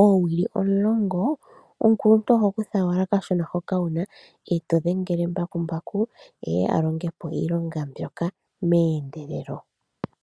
oowili omulongo, omukuluntu oho kutha owala kashona hoka wuna e to dhengele mbakumbaku eye a longe po iilonga mbyoka meendelelo.